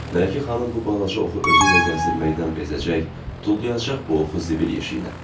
Mələkə xanım bu balaca oxu özü ilə gəzdirməkdən bezəcək, tullayacaq bu oxu zibil yeşiyinə.